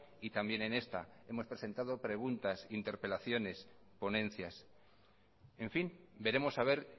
y también en esta hemos presentado preguntas interpelaciones ponencias en fin veremos a ver